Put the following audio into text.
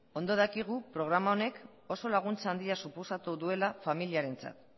ondo dakigu programa honek oso laguntza handia suposatu duela familiarentzat